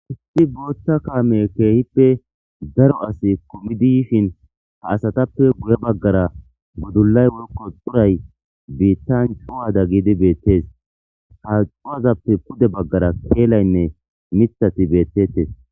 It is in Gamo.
Isti booththa kaame keehippe daro asi komidi yishin ha asatappe guye baggara gudullay workko xuray biittan cuwada giidi beettes ha cuwazappe pude baggara keelaynne mithati beettettes.